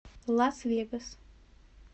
лас вегас